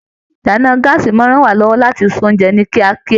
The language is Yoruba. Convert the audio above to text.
Ìdáná gàásí máa n rán wa lọwọ láti ṣe oúnjẹ ni kíákíá.